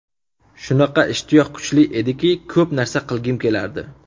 Shunaqa, ishtiyoq kuchli edi, ko‘p narsa qilgim kelardi.